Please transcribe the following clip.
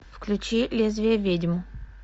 включи лезвие ведьм